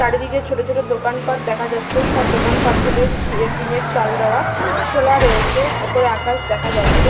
চারিদিকে ছোট ছোট দোকানপাট দেখা যাচ্ছে। সব দোকানপাট গুলির ছি টিনের চাল দেওয়া। খোলা রয়েছে। উপরে আকাশ দেখা যাচ্ছে।